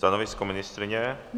Stanovisko ministryně?